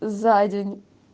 за день